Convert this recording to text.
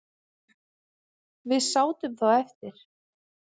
Við sátum þá eftir